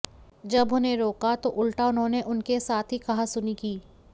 जब उन्हें रोका तो उल्टा उन्होंने उनके साथ ही कहासुनी की